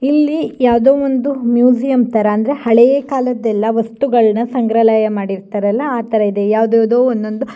ಇಲ್ಲಿ ಯಾವ್ದೋ ಒಂದ್ ಮ್ಯೂಸಿಯಂ ತರ ಅಂದ್ರೆ ಹಳೆಯ ಕಾಲದ್ದೆಲ್ಲ ವಸ್ತುಗಳನ್ನೆಲ್ಲ ಸಂಗ್ರಹ ಮಾಡಿರ್ತಾರಲ್ಲ ಆ ತರ ಇದೆ ಯಾವಿದ್ಯಾವ್ದೋ ಒಂದೊಂದ್-